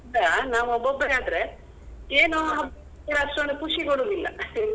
ನಾವ್ ಒಬ್ಬೊಬ್ರೆ ಆದ್ರೆ ಏನೋ ಅಷ್ಟೊಂದು ಖುಷಿ ಕೊಡುದಿಲ್ಲ .